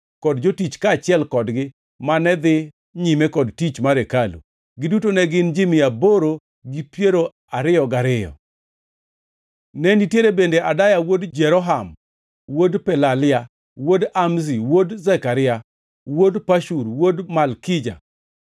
kod jotich kaachiel kodgi, mane dhi nyime kod tich mar hekalu. Giduto ne gin ji mia aboro gi piero ariyo gariyo (822). Ne nitiere bende Adaya wuod Jeroham, wuod Pelalia, wuod Amzi, wuod Zekaria, wuod Pashur, wuod Malkija,